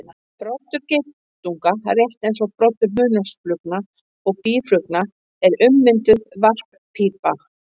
Broddur geitunga, rétt eins og broddur hunangsflugna og býflugna, er ummynduð varppípa.